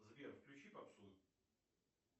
сбер включи попсу